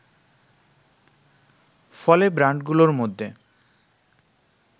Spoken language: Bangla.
ফলে ব্র্যান্ডগুলোর মধ্যে